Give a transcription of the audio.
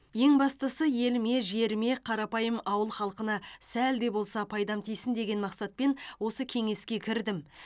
ең бастысы еліме жеріме қарапайым ауыл халқына сәл де болса пайдам тисін деген мақсатпен осы кеңеске кірдім